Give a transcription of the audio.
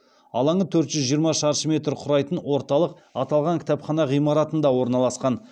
алаңы төрт жүз жиырма шаршы метр құрайтын орталық аталған кітапхана ғимаратында орналасқан